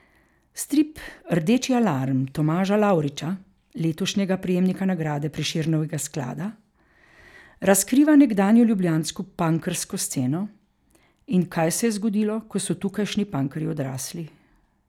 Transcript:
Strip Rdeči alarm Tomaža Lavriča, letošnjega prejemnika nagrade Prešernovega sklada, razkriva nekdanjo ljubljansko punkersko sceno in kaj se je zgodilo, ko so tukajšnji punkerji odrasli.